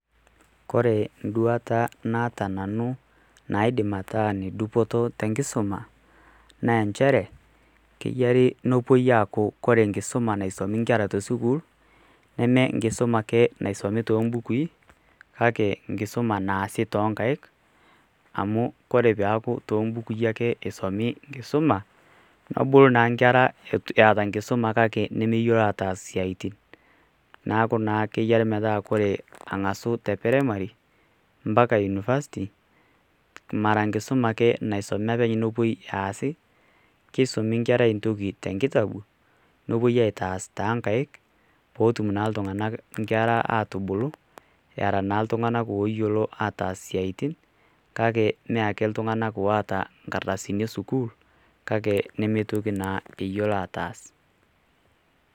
Kore nduata naata nanu naidim ataa ene dupoto tenkisuma ,naa enchere keyiare nepuoi ayaku kore enkisuma naisumi inkera te sukuul, neme enkisuma ake naisomi too imbukui, kake enkisuma naasi too inkaik, amu ore peaku too imbukui ake eisomi enkisuma, nebulu naake inkera eata enkisuma kake meyiolo ataas isiaitin neaku naa keyiare metaa keng'asu te peremari, mpaka unifasiti mara enkisuma ake naisomi pee mepuoi aasi, keisumi enkerai te nkitabu ,nepuoi aitaas too inkaik pee etum naa iltung'ana inkera atubulu era naa iltung'ana oyiolo ataas isiaitin kake me ake iltung'ana oata inkardasini e sukuul kake nemeitoki naa ayiolo ataas.